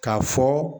K'a fɔ